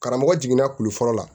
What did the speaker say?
Karamɔgɔ jiginna kulu fɔlɔ la